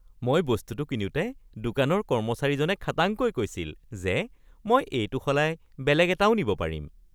মই বস্তুটো কিনোতে দোকানৰ কৰ্মচাৰীজনে খাটাংকৈ কৈছিল যে মই এইটো সলাই বেলেগ এটাও নিব পাৰিম।